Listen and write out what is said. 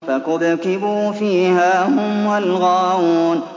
فَكُبْكِبُوا فِيهَا هُمْ وَالْغَاوُونَ